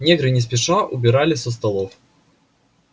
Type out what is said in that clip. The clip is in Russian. негры не спеша убирали со столов